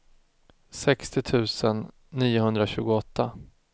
sextio tusen niohundratjugoåtta